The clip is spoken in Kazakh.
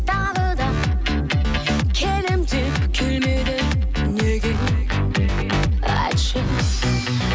тағы да келемін деп келмедің неге айтшы